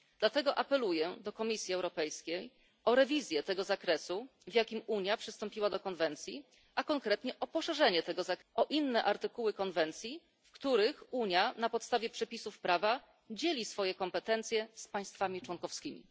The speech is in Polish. Dlatego apeluję do Komisji Europejskiej o rewizję zakresu, w jakim Unia przystąpiła do konwencji, a konkretnie o jego poszerzenie o inne artykuły konwencji, w których Unia na podstawie przepisów prawa dzieli swoje kompetencje z państwami członkowskimi.